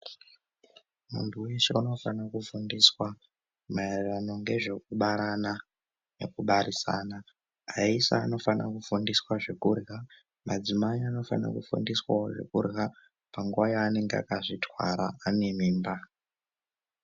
Antu eshe anofanire kufundiswa maererano ngezvekubarana nekubarisana aisa anofanira kufundiswa zvekurya, madzimai anofanirawo kufundiswa zvekurya panguwa yavanenge akazvitwara anemimba.